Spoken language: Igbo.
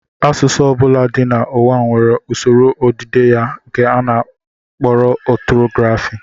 Asụsụ ọ bụla dị n'ụwa nwere usoro odide ya nke a kpọrọ ọtọgrafị